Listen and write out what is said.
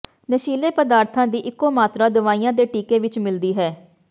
ਨਸ਼ੀਲੇ ਪਦਾਰਥਾਂ ਦੀ ਇਕੋ ਮਾਤਰਾ ਦਵਾਈਆਂ ਦੇ ਟੀਕੇ ਵਿੱਚ ਮਿਲਦੀ ਹੈ